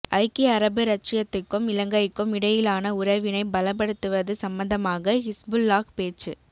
ஐக்கிய அரபு இரச்சியத்துக்கும் இலங்கைக்கும் இடையிலான உறவினை பலப்படுத்துவது சம்பந்தமாக ஹிஸ்புல்லாஹ் பேச்சு